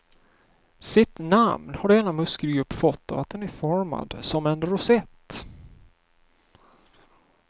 Sitt namn har denna muskelgrupp fått av att den är formad som en rosett.